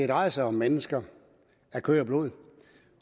drejer sig om mennesker af kød og blod